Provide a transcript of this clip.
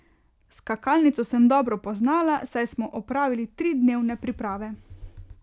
Skakalnico sem dobro poznala, saj smo opravili tri dnevne priprave.